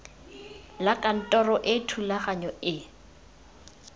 la kantoro e thulaganyo e